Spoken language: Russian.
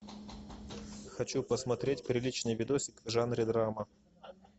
хочу посмотреть приличный видосик в жанре драма